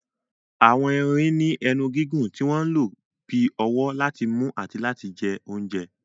Àwọn erin ní ẹnu gígùn tí wọ́n ń lò bí ọwọ́ láti mú àti láti jẹ oúnjẹ.